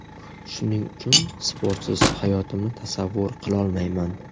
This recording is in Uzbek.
Shuning uchun sportsiz hayotimni tasavvur qilolmayman.